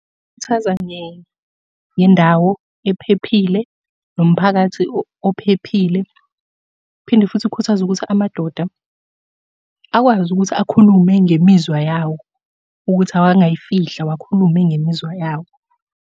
Khuthaza ngendawo ephephile, nomphakathi ophephile. Phinde futhi ikhuthaze ukuthi amadoda akwazi ukuthi akhulume ngemizwa yawo, ukuthi awangayifihli awakhulume ngemizwa yawo.